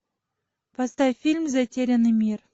поставь фильм затерянный мир